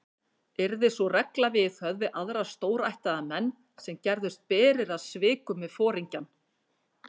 Yrði sú regla viðhöfð við aðra stórættaða menn, sem gerðust berir að svikum við foringjann.